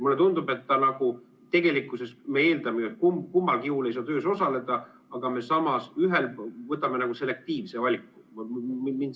Mulle tundub, et me nagu eeldame, et kummalgi juhul ei saa töös osaleda, aga me võtame samas selektiivselt ühe valiku ära.